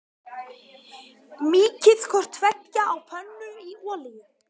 Mýkið hvort tveggja á pönnu í olíu.